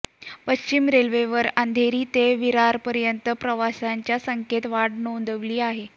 पश्चिम रेल्वेवर अंधेरी ते विरारपर्यंत प्रवाशांच्या संख्येत वाढ नोंदवली आहे